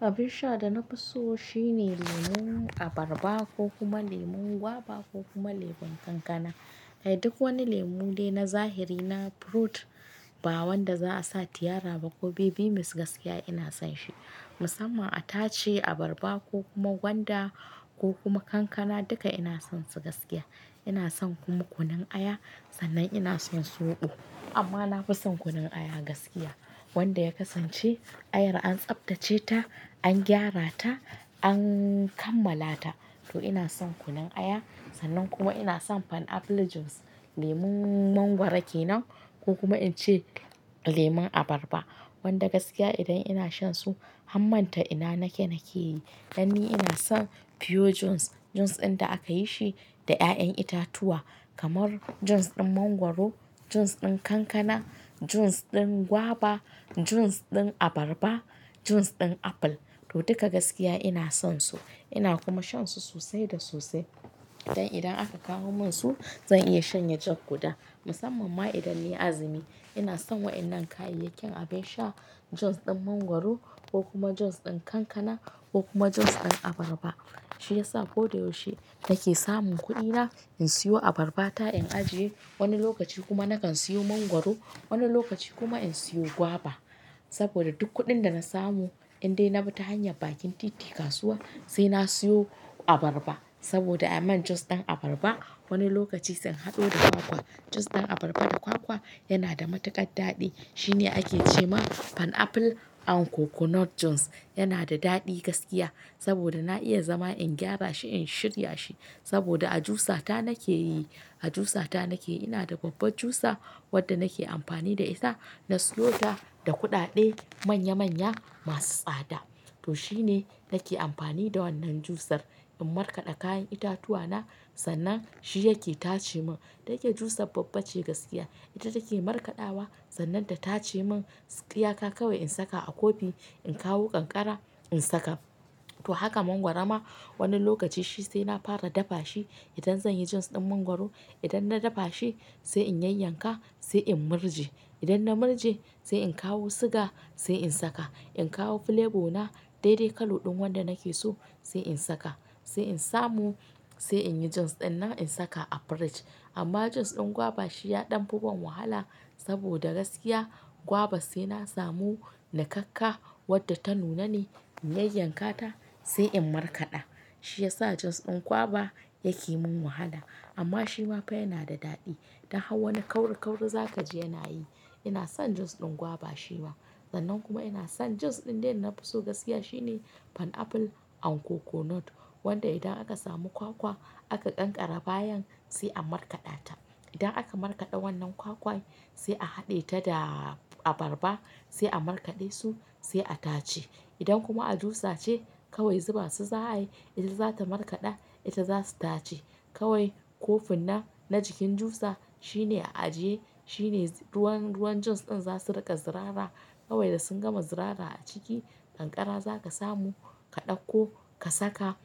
Abin sha da na fi so shine lemon abarba ko kuma lemon gwaba ko kuma lemon kankana. A duk wani lemon dai na zahiri na fruit, ba wanda za a sa tiyara ba ko baby mix gaskiya ina son shi. Musamman a tace abarba ko kuma gwanda ko kuma kankana duka ina son su gaskiya. Ina son kuma kunun aya sannan ina son soɓo. Amma na fi son kunun aya gaskiya wanda ya kasance aya an tsaftace ta, an gyara ta, an kammala ta. To ina son kunun aya sannan kuma ina son pineapple juice, lemon mangwaro ke nan ko kuma in ce lemon abarba. Wanda gaskiya idan ina shan su, ham manta ina nake nake yi. Dan ni ina son pure juice, juice ɗin da aka yi shi da ƴaƴan itatuwa kamar juice ɗin mangwaro, juice ɗin kankana, juice ɗin gwaba, juice ɗin abarba, juice ɗin apple. To duka gaskiya ina son su. Ina kuma shan su sosai da sosai. Dan idan aka kawo min su zan iya shanye jug guda. Musamman ma idan ni na azumi ina son wannan kayayyakin abin sha juice ɗin mangwaro ko kuma juice ɗin kankana ko kuma juice ɗin abarba. Shi yasa ko da yaushe nake samun kuɗina in siyo abarba ta in ajiye wani lokaci kuma nakan siyo mangwaro. Wani lokaci kuma in siyo gwaba. Saboda duk kuɗin da na samu indai na bi ta hanyar bakin titi kasuwa sai na siyo abarba. Saboda a man juice ɗin abarba wani lokaci zan haɗo da kwakwa. Juice ɗin abarba da kwakwa yana da matuƙar daɗi. Shi ne ake ce mana pineapple and coconut juice. Yana da daɗi gaskiya saboda na iya zama in gyara shi in shirya shi. Saboda a jusa ta nake yi, a jusa ta nake. Ina da babbar jusa wadda nake amfani da ita. Na siyo ta da kuɗaɗe manya manya masu tsada. To shi ne nake amfani da wannan jusar in markaɗa kayan itatuwa na sannan shi yake tace min. Dayake jusar babba ce gaskiya. Ita take markaɗawa sannan ta tace min. Iya ka kawai in saka a kofi in kawo kankara in saka. To haka mangwaro ma wani lokaci shi sai na fara dafa shi idan zan yi juice ɗin mangwaro. Idan na dafa shi sai in yayyanka sai in murji. Idan na murje sai in kawo siga sai in saka. In kawo flavor na dai dai kalo ɗin wanda nake so sai in saka. Sai in samu sai in yi juice ɗin nan in saka a fridge. Amma juice ɗin gwaba shi ya ɗan fi ba wahala saboda gaskiya gwaba sai na samu niƙakka wadda ta nuna ni in yayyanka ta sai in markaɗa. Shi yasa juice ɗin gwaba yake min wahala. Amma shi ma fa yana da daɗi. Dan hau wani kauri kauri za ka ji yana yi. Ina son juice ɗin gwaba shi ma. Sannan kuma ina son juice ɗin dai na fi so gaskiya shine pineapple and coconut wanda idan aka samu kwakwa aka kankare bayan sai a markaɗa ta. Idan aka markaɗa wannan kwakwa sai a haɗe ta da abarba sai a markaɗe su sai a tace. Idan kuma a jusa ce kawai zuba su za a yi. Ita za ta markaɗa ita za ta tace. Kawai kofin nan na jikin jusa shi ne a ajiye shi ne ruwan, ruwan juice ɗin za su riƙa zirara. Kawai da sun gama zirara a ciki kankara za ka samu ka ɗauko ka saka.